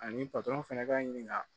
Ani fɛnɛ b'a ɲini ka